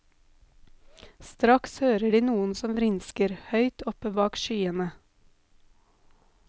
Straks hører de noen som vrinsker, høyt oppe bak skyene.